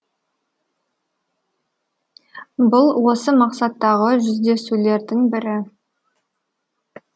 бұл осы мақсаттағы жүздесулердің бірі